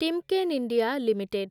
Timken India limited